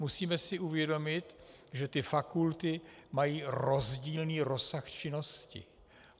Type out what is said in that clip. Musíme si uvědomit, že ty fakulty mají rozdílný rozsah činnosti.